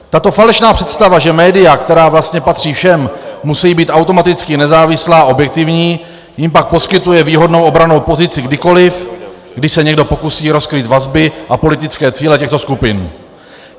Tato falešná představa, že média, která vlastně patří všem, musí být automaticky nezávislá a objektivní, jim pak poskytuje výhodnou obrannou pozici kdykoliv, kdy se někdo pokusí rozkrýt vazby a politické cíle těchto skupin.